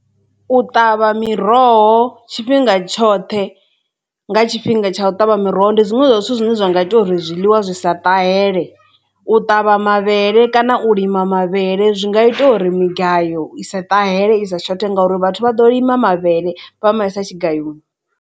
U ṱavha miroho tshifhinga tshoṱhe nga tshifhinga tsha u ṱavha miroho ndi zwiṅwe zwa zwithu zwine zwa nga ita uri zwiḽiwa zwi sa ṱahela u ṱavha mavhele kana u lima mavhele zwi nga ita uri migayo i sa ṱahela i sa tshoṱhe ngauri vhathu vha ḓo lima mavhele vha ma isa tshigayoni.